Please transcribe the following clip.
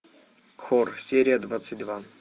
хор серия двадцать два